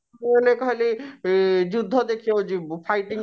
ଓ ମାନେ ଖାଲି ଇ ଯୁଧ୍ୟ ଦେଖିବାକୁ ଯିବୁ fighting